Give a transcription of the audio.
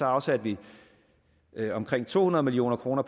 afsatte vi omkring to hundrede million kroner